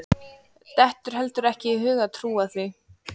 Dettur heldur ekki í hug að trúa því.